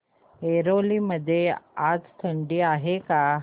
ऐरोली मध्ये आज थंडी आहे का